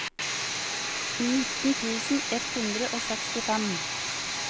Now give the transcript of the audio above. nitten tusen ett hundre og sekstifem